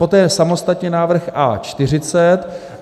Poté samostatně návrh A.40.